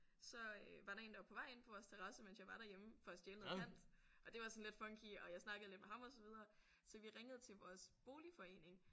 Så øh var der én der var på vej ind på vores terrasse mens jeg var derhjemme for at stjæle noget pant og det var sådan lidt funky og jeg snakkede lidt med ham og så videre så vi ringede til vores boligforening